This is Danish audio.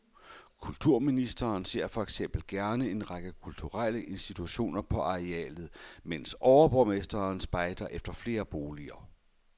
Kulturministeren ser for eksempel gerne en række kulturelle institutioner på arealet, mens overborgmesteren spejder efter flere boliger.